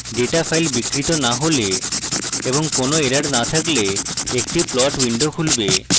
data file বিকৃত no হলে এবং কোনো errors no থাকলে একটি plot window খুলবে